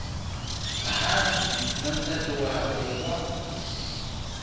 hansi na nsati wakwe wa